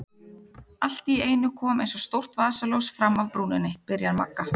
Allt í einu kom eins og stórt vasaljós fram af brúninni, byrjar Magga.